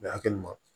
A bɛ hakɛ ma